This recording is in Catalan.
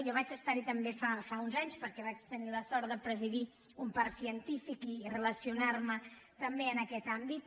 jo vaig estar hi també fa uns anys perquè vaig tenir la sort de presidir un parc científic i relacionar me també en aquest àmbit